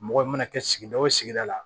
Mɔgɔ mana kɛ sigida o sigida la